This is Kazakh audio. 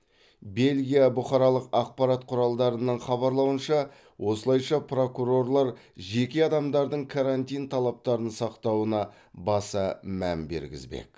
бельгия бұқаралық ақпарат құралдарының хабарлауынша осылайша прокурорлар жеке адамдардың карантин талаптарын сақтауына баса мән бергізбек